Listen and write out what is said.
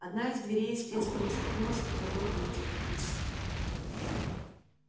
одна из дверей с треском распахнулась и в коридор вылетел пивз